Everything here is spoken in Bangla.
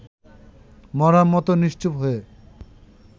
মড়ার মতো নিশ্চুপ হয়ে